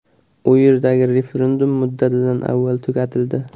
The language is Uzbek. U yerdagi referendum muddatidan avval tugatildi.